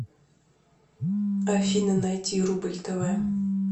афина найти рубль тв